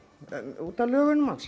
út af lögunum hans